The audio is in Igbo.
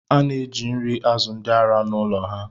A na-nri azu ndị ara n’ụlọ ha